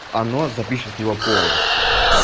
оно запишет его полностью